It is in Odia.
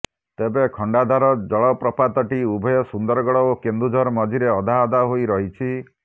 ତେବେ ଖଣ୍ଡାଧାର ଜଳପ୍ରପାତଟି ଉଭୟ ସୁନ୍ଦରଗଡ଼ ଓ କେନ୍ଦୁଝର ମଝିରେ ଅଧା ଅଧା ହୋଇ ରହିଛି